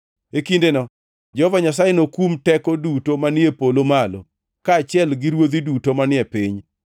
E kindeno Jehova Nyasaye nokum teko duto manie polo malo, kaachiel gi ruodhi duto manie piny.